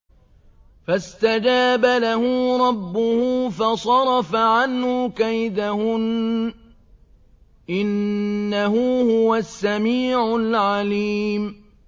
فَاسْتَجَابَ لَهُ رَبُّهُ فَصَرَفَ عَنْهُ كَيْدَهُنَّ ۚ إِنَّهُ هُوَ السَّمِيعُ الْعَلِيمُ